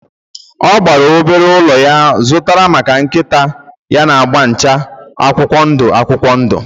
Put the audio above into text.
Ọ gbaara obere ụlọ ọ zụtara maka nkịta ya agba na-acha akwụkwọ ndụ akwụkwọ ndụ